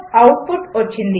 output వచ్చింది